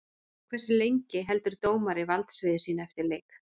Hversu lengi heldur dómari valdsviði sínu eftir leik?